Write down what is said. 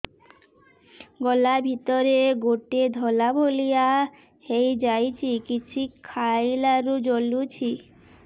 ଗଳା ଭିତରେ ଗୋଟେ ଧଳା ଭଳିଆ ହେଇ ଯାଇଛି କିଛି ଖାଇଲାରୁ ଜଳୁଛି